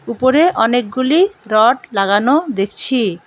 উপরে অনেকগুলি রড লাগানো দেখছি।